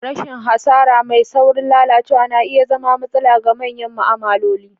Rashin hasara: Mai saurin lalacewa; na iya zama matsala ga manyan ma'amaloli.